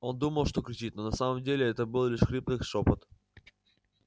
он думал что кричит но на самом деле это был лишь хриплый шёпот